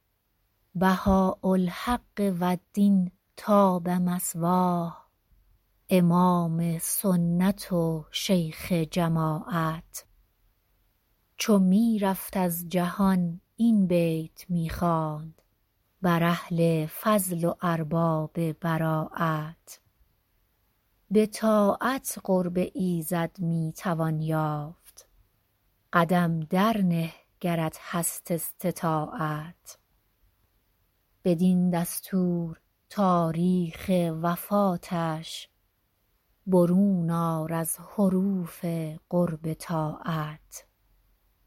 بهاء الحق و الدین طاب مثواه امام سنت و شیخ جماعت چو می رفت از جهان این بیت می خواند بر اهل فضل و ارباب براعت به طاعت قرب ایزد می توان یافت قدم در نه گرت هست استطاعت بدین دستور تاریخ وفاتش برون آر از حروف قرب طاعت